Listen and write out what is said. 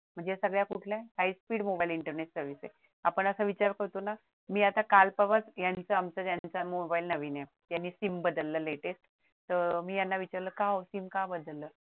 म्हणजे सगळ्या कुठल्या high speed in mobile Internet service आपण असा विचार करतो ना मी आता काल परवाच यांचं आमचा मोबाइल नवीन आहे यांनी सिम बदललं latest तर मी याना म्हंटल का ओ सिम का बदलल